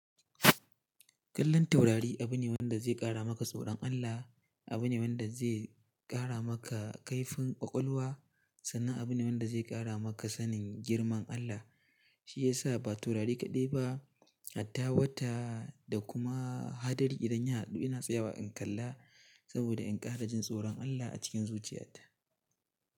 Kallon taurari abu ne wanda zai ƙara maka tsoron Allah, abu ne wanda zai ƙara maka kaifin ƙwaƙwalwa sannan abu ne wanda zai ƙara maka sanin girman Allah. Shi ya sa ba taurari kaɗai ba, hatta wata da kuma hadari idan ya haɗu ina tsayawa in kalla saboda in ƙara jin tsoron Allah a cikin zuciyata.